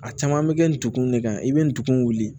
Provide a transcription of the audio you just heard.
A caman bɛ kɛ ninkun de kan i bɛ nin kun wuli